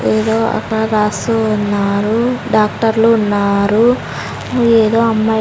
ఏదో అట రాస్తూ ఉన్నారు డాక్టర్లు ఉన్నారు ఏదో అమ్మాయ్--